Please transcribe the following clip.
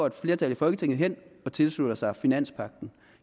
et flertal i folketinget hen og tilsluttede sig finanspagten